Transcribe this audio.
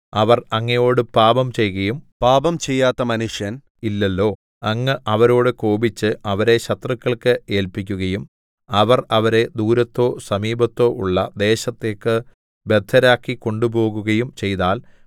അവർ അങ്ങയോട് പാപം ചെയ്കയും പാപം ചെയ്യാത്ത മനുഷ്യൻ ഇല്ലല്ലോ അങ്ങ് അവരോടു കോപിച്ച് അവരെ ശത്രുക്കൾക്ക് ഏല്പിക്കുകയും അവർ അവരെ ദൂരത്തോ സമീപത്തോ ഉള്ള ദേശത്തേക്ക് ബദ്ധരാക്കി കൊണ്ടുപോകുകയും ചെയ്താൽ